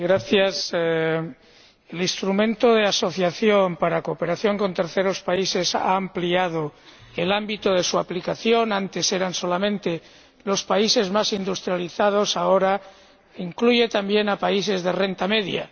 Señora Presidenta, el Instrumento de Asociación para la cooperación con terceros países ha ampliado su ámbito de aplicación antes eran solamente los países más industrializados, ahora incluye también a países de renta media.